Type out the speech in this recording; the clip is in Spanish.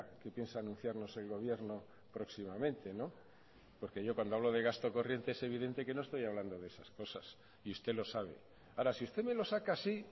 que piensa anunciarnos el gobierno próximamente porque yo cuando hablo de gasto corriente es evidente que no estoy hablando de esas cosas y usted lo sabe ahora si usted me lo saca así